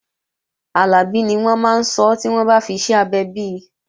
Àlàbí ni wọ́n máa sọ́ tí wọ́n bá fiṣẹ́ abẹ bi